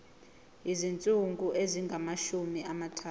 izinsuku ezingamashumi amathathu